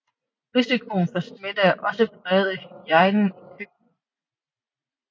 Risikoen for smitte er også præget af hygiejnen i køkkenet